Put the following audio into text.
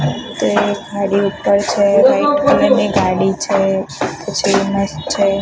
છે white colour ની ગાડી છે